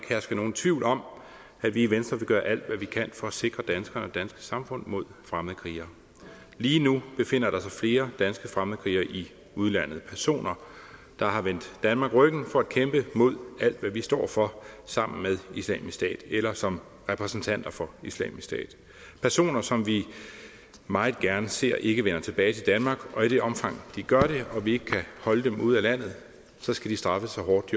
herske nogen tvivl om at vi i venstre vil gøre alt hvad vi kan for at sikre danskerne og det danske samfund mod fremmedkrigere lige nu befinder der sig flere danske fremmedkrigere i udlandet personer der har vendt danmark ryggen for at kæmpe mod alt hvad vi står for sammen med islamisk stat eller som repræsentanter for islamisk stat personer som vi meget gerne ser ikke vender tilbage til danmark og i det omfang de gør det og vi ikke kan holde dem ude af landet skal de straffes så hårdt